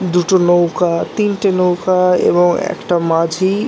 দুটো নৌকা তিনটে নৌকা এবং একটা মাঝি--